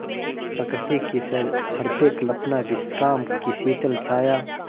प्रकृति की सहृदय कल्पना विश्राम की शीतल छाया